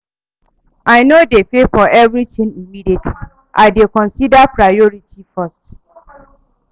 I no dey pay for everytin immediately, I dey consider priority first.